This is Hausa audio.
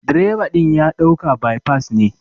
direba din ya dauka by pass ne.